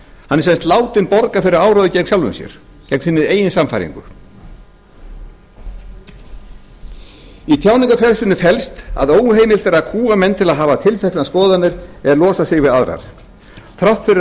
hann er sem sagt látinn borga fyrir áróður gegn sjálfum sér gegn sinni eigin sannfæringu í tjáningarfrelsinu felst að óheimilt er að kúga menn til að hafa tilteknar skoðanir en losa sig við aðrar þrátt fyrir að